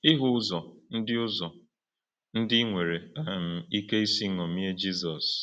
Ị hụ ụzọ ndị ụzọ ndị i nwere um ike isi ṅomie Jizọs?